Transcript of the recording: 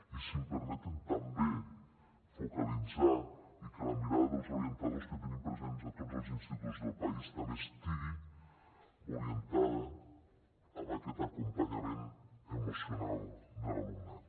i si em permeten també focalitzar i que la mirada dels orientadors que tenim presents a tots els instituts del país també estigui orientada a aquest acompanyament emocional de l’alumnat